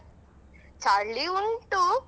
ಚಳಿ ಉಂಟು.